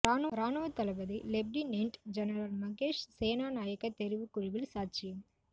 இராணுவத் தளபதி lieutenant general Mahesh Senanayake தெரிவுக் குழுவில் சாட்சியம்